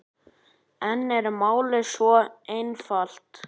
En er málið svo einfalt?